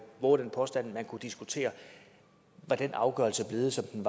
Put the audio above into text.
vove den påstand at man kunne diskutere var den afgørelse blevet som den